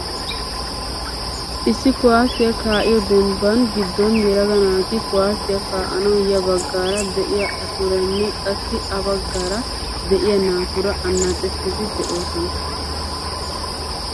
Issi kuwaasiyaa kaa'iyoo dembbaa giddon yelaga naati kuwaasiyaa kaa'anawu ya baggaara de'iyaa aaturanne qassi ha baggaara de'iyaa naatura annaacettiidi de'oosona.